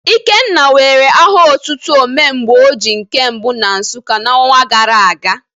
Ikenna were aha otutu Ome mgbe oji nke mbụ na Nsụka n'ọnwa gara aga.